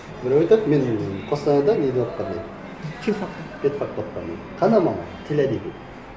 біреуі айтады мен қостанайда неде оқығанмын дейді фил факта фил факта оқығанмын қандай маман тіл әдебиет